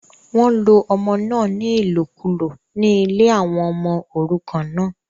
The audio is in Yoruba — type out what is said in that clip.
wọ́n lo ọmọ náà ní ìlòkùlò ní ilé àwọn ọmọ òrukàn náà